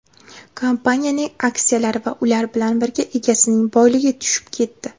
kompaniyaning aksiyalari va ular bilan birga egasining boyligi tushib ketdi.